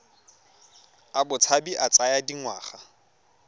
a botshabi a tsaya dingwaga